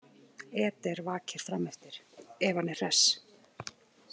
Eder vakir frameftir, ef hann er hress.